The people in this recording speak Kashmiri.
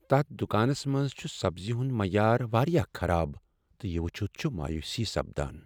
تتھ دکانس منز چھ سبزی ہند معیار واریاہ خراب تہٕ یہ وچھتھ چھےٚ مایوسی سپدان۔